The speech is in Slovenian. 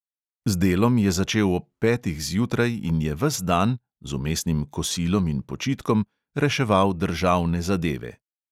Z delom je začel ob petih zjutraj in je ves dan (z vmesnim kosilom in počitkom) reševal državne zadeve,